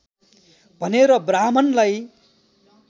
भनेर ब्राहृमणलाई